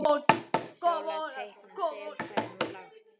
Sóla teikna sel, sagði hún lágt.